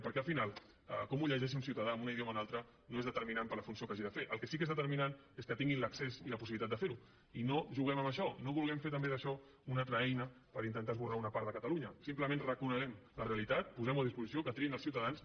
perquè al final com ho llegeixi un ciutadà amb un idioma o un altre no és determinant per la funció que hagi de fer el que sí que és determinant és que tinguin l’accés i la possibilitat de fer ho i no juguem amb això no vulguem fer també d’això una altra eina per intentar esborrar una part de catalunya simplement reconeguem la realitat posemho a disposició i que triïn els ciutadans